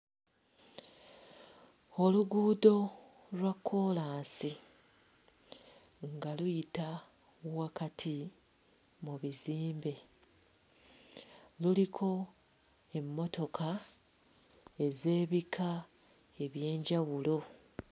Oluguudo lwa kkoolaasi nga luyita wakati mu bizimbe, luliko emmotoka ez'ebika eby'enjawulo.